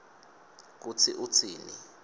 kutsi utsini